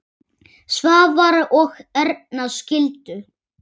Svavar og Erna skildu.